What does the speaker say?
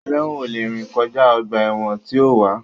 Ẹlẹ́wọ̀n ò lè rìn kọjá ọgbà ẹ̀wọ̀n tí ó wà